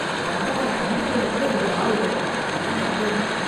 வந்தவனை கண்டுகொள்ள கூட இங்கே ஆளில்லை, ஏன் வந்தேனோ!